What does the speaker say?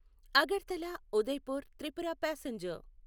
Agartala Udaipur Tripura passenger